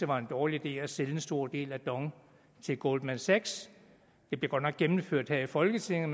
var en dårlig idé at sælge en stor del af dong til goldman sachs det blev godt nok gennemført her i folketinget